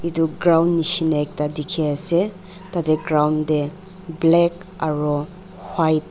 etu ground nishina ekta dikhi ase tai tey ground tey black aro white --